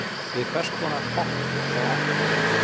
við hvers konar hopp er þá átt